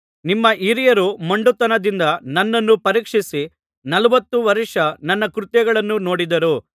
ನಿಮ್ಮ ಹಿರಿಯರು ಮೊಂಡುತನದಿಂದ ನನ್ನನ್ನು ಪರೀಕ್ಷಿಸಿ ನಲವತ್ತು ವರ್ಷ ನನ್ನ ಕೃತ್ಯಗಳನ್ನು ನೋಡಿದರು